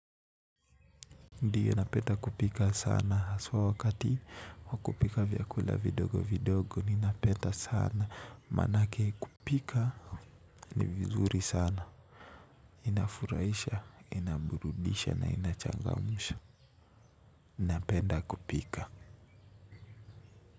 Ndiyo napenda kupika sana haswa wakati wa kupika vyakula vidogo vidogo ninapenda sana maanake kupika ni vizuri sana inafurahisha ina burudisha na inachangamsha napenda kupika.